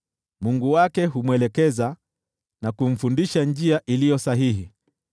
Mungu wake humwelekeza na kumfundisha njia iliyo sahihi.